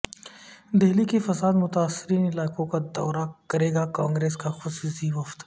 دہلی کے فساد متاثرہ علاقوں کا دورہ کرے گا کانگریس کا خصوصی وفد